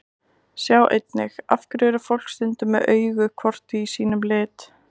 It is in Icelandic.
Sjá einnig: Af hverju er fólk stundum með augu hvort í sínum lit?